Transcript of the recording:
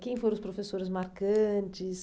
Quem foram os professores marcantes?